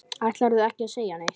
Ætlarðu ekki að segja neitt?